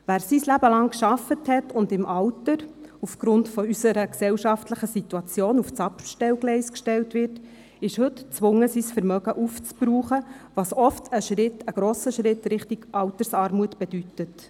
Wer sein Leben lang gearbeitet hat und im Alter aufgrund unserer gesellschaftlichen Situation auf das Abstellgleis gestellt wird, ist heute gezwungen, sein Vermögen aufzubrauchen, was oft ein grosser Schritt in Richtung Altersarmut bedeutet.